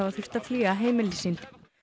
þurft að flýja heimili sín